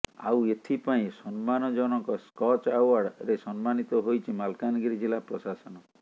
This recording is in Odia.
ଆଉ ଏଥି ପାଇଁ ସମ୍ମାନଜନକ ସ୍କଚ ଆଓାର୍ଡ ରେ ସମ୍ସାନିତ ହୋଇଛି ମାଲକାନଗିରି ଜିଲ୍ଲା ପ୍ରଶାସନ